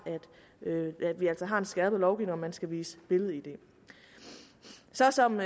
at vi altså har en skærpet lovgivning man skal vise billed id så som